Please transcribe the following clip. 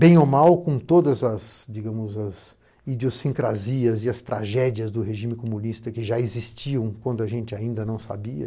Bem ou mal com todas as, digamos, as idiosincrasias e as tragédias do regime comunista que já existiam quando a gente ainda não sabia,